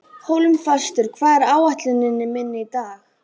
Hólmfastur, hvað er á áætluninni minni í dag?